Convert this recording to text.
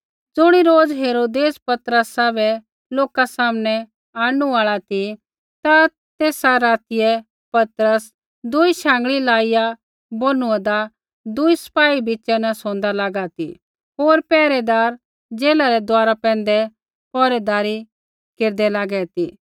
ज़ुणी रोज़ हेरोदेस पतरसा बै लोका सामनै आंणनु आल़ा ती ता तेसा रातियै पतरस दूई शाँगल़ीयै लाईया बोनूआ दा दूई सिपाही बिच़ा न सोंदा लागा ती होर पैहरैदार जेला रै दुआरा पैंधै पैहरैदारी केरदै लागै ती